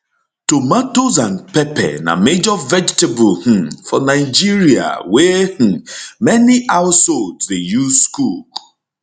tomatoes and pepper na major vegetable um for nigeria wey um many households dey use cook